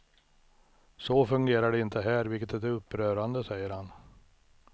Så fungerar det inte här, vilket är upprörande, säger han.